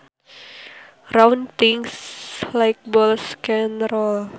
Round things like balls can roll